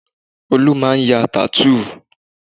Olú máa ń ya tattoo